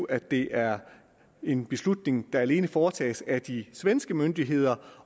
at det er en beslutning der alene foretages af de svenske myndigheder